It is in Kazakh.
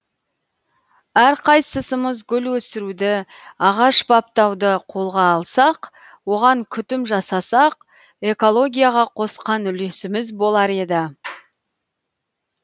әрқайсысымыз гүл өсіруді ағаш баптауды қолға алсақ оған күтім жасасақ экологияға қосқан үлесіміз болар еді